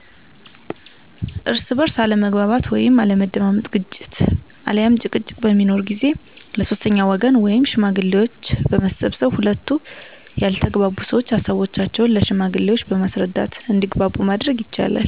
እርስ በእርስ አለመግባባት ወይም አለመደማመጥ ግጭት አልያም ጭቅጭቅ በሚኖር ጊዜ ለ ሶስተኛ ወገን ወይም ሽማግሌዎች በመሰብሰብ ሁለቱ ያልተግባቡ ሰዎች ሀሳቦቻቸውን ለ ሽማግሌዎች በማስረዳት እንዲግባቡ ማድረግ ይቻላል።